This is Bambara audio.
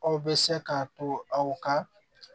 Aw bɛ se k'a to aw ka